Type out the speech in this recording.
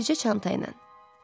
Bircə çanta ilə.